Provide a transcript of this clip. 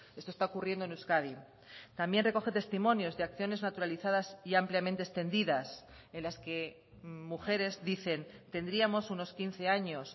esto está ocurriendo en euskadi también recoge testimonios de acciones naturalizadas y ampliamente extendidas en las que mujeres dicen tendríamos unos quince años